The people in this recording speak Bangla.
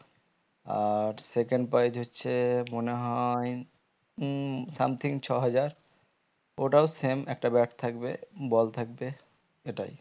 আর second prize হচ্ছে মনে হয় উম something ছ হাজার ওটাও same একটা bat থাকবে ball থাকবে এটাই